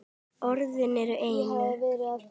Orðin að einu.